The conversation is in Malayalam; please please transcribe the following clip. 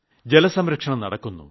ജലസംരക്ഷണം നടക്കുന്നു